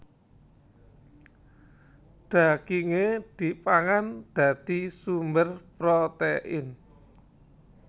Dagingé dipangan dadi sumber protein